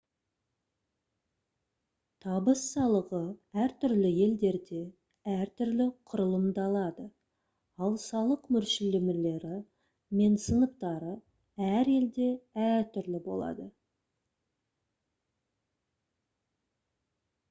табыс салығы әртүрлі елдерде әр түрлі құрылымдалады ал салық мөлшерлемелері мен сыныптары әр елде әртүрлі болады